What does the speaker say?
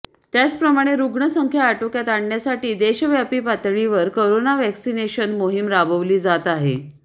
त्याचप्रमाणे रुग्ण संख्या आटोक्यात आणण्यासाठी देशव्यापी पातळीवर करोना व्हॅक्सिनेशन मोहिम राबवली जात आहे